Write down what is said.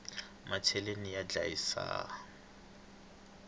macheleni ya ndlayisa